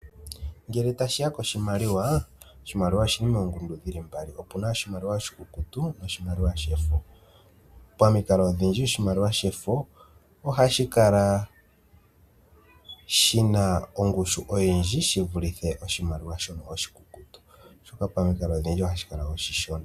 Ngele tashiya koshimaliwa, oshimaliwa oshili moongundu dhili mbali, opuna oshimaliwa shefo noshowo oshimaliwa oshikukutu. Pomikalo odhindji oshimaliwa shefo ohashi kala shina ongushu oyindji shi vulithe oshimaliwa shono oshikukutu, oshoka pamikalo odhindji ohashi kala oshi shona.